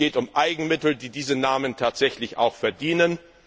Es geht um Eigenmittel, die diesen Namen auch tatsächlich verdienen.